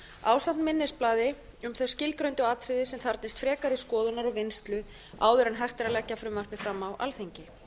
ásamt minnisblaði um þau skilgreindu atriði sem þarfnist frekari skoðunar og vinnslu áður en hægt er að leggja frumvarpið fram á alþingi